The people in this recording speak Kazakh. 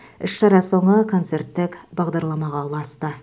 іс шара соңы концерттік бағдарламаға ұласты